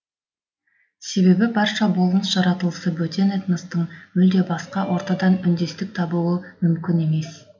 себебі барша болмыс жаратылысы бөтен этностың мүлде басқа ортадан үндестік табуы мүмкін емес